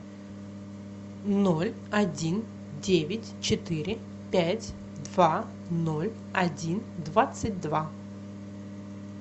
ноль один девять четыре пять два ноль один двадцать два